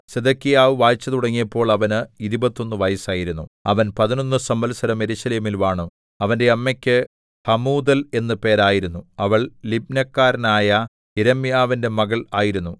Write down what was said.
സിദെക്കീയാവ് വാഴ്ച തുടങ്ങിയപ്പോൾ അവന് ഇരുപത്തൊന്നു വയസ്സായിരുന്നു അവൻ പതിനൊന്നു സംവത്സരം യെരൂശലേമിൽ വാണു അവന്റെ അമ്മയ്ക്ക് ഹമൂതൽ എന്ന് പേരായിരുന്നു അവൾ ലിബ്നക്കാരനായ യിരെമ്യാവിന്റെ മകൾ ആയിരുന്നു